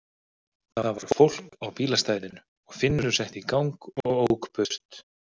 Það var fólk á bílastæðinu og Finnur setti í gang og ók burt.